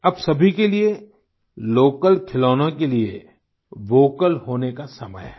अब सभी के लिये लोकल खिलौनों के लिये वोकल होने का समय है